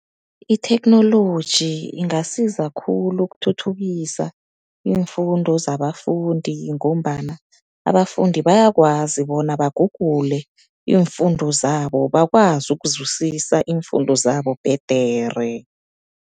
Itheknoloji ingasiza khulu ukuthuthukisa iimfundo zabafundi, ngombana abafundi bayakwazi bona bagugule iimfundo zabo, bakwazi ukuzwisisa iimfundo zabo bhedere.